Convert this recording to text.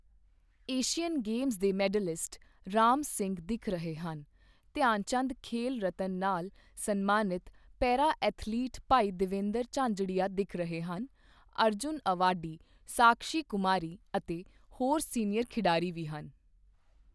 Asian Games ਦੇ medalist Ram Singh ਦਿਖ ਰਹੇ ਹਨ, ਧਿਆਨਚੰਦ ਖੇਲ ਰਤਨ ਨਾਲ ਸਨਮਾਨਿਤ ਪੈਰਾ ਐਥਲੀਟ ਭਾਈ ਦੇਵੇਂਦਰ ਝਾਂਝੜੀਆ ਦਿਖ ਰਹੇ ਹਨ, ਅਰਜੁਨ ਅਵਾਰਡੀ ਸਾਕਸ਼ੀ ਕੁਮਾਰੀ ਅਤੇ ਹੋਰ ਸੀਨੀਅਰ ਖਿਡਾਰੀ ਵੀ ਹਨ।